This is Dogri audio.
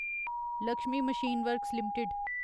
Lakshmi machine works limited